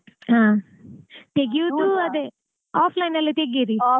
ಹಾ ತೆಗಿಯೋದು ಅದೇ offline ಅಲ್ಲಿ ತೆಗೀರಿ.